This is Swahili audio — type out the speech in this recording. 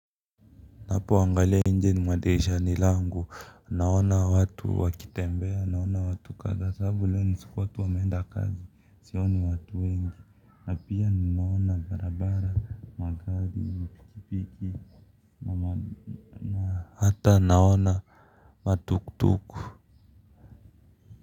Napoangalia nje mwa dirishani langu, naona watu wakitembea, naona watu kadhaa sababu leo ni siku watu wameenda kazi, sioni watu wengi, na pia ninaona barabara, magari, mapikipiki, na hata naona matuktuk.